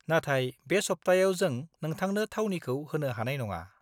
नाथाय बे सप्तायाव जों नोंथांनो थावनिखौ होनो हानाय नङा।